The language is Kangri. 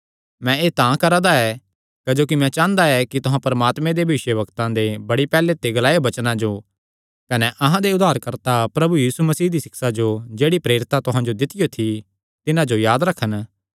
मैं एह़ तां करा दा ऐ क्जोकि मैं चांह़दा ऐ कि तुहां परमात्मे दे भविष्यवक्तां दे बड़ी पैहल्ले दे ग्लायो वचनां जो कने अहां दे उद्धारकर्ता प्रभु यीशु मसीह दी सिक्षा जो जेह्ड़ी प्रेरितां तुहां जो दित्तियो थी तिन्हां जो याद रखन